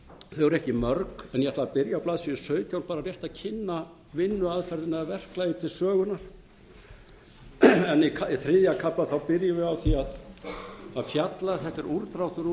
ekki mörg en ég ætla að byrja á blaðsíðu sautján bara rétt að kynna vinnuaðferðina og verklagið til sögunnar en í þriðja kafla byrjum við á því að fjalla þetta er útdráttur úr